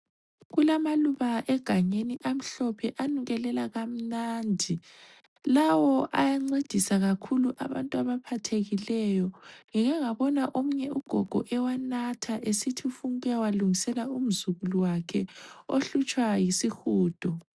Kulamaluba egangeni amhlophe anukelela kamnandi. Lawo ayancedisa kakhulu abantu abaphathekileyo. Ngike ngabona omunye ugogo ewanatha esithi ufuna ukuyawalungisela umzukulu wakhe ohlutshwa yisihudo.